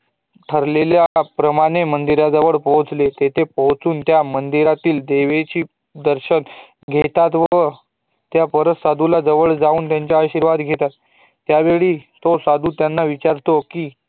ठरलेल्या प्रमाणे मंदिरा जवळ पोहचले तेथे पोहचून त्या मंदिरातील देवीचे दर्शन घेतात व भेटलेल्या त्या साधू जवळ जाऊन आशीर्वाद घेतात त्यावेळी तो साधू त्यांना विचारतो कि